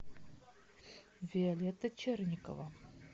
виолетта черникова